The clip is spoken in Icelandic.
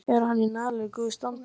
Er hann í nægilega góðu standi?